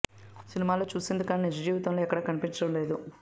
సినిమాల్లో చూసింది కానీ నిజ జీవితంలో ఎక్కడా కనిపించటం లేదు